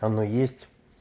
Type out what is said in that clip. оно есть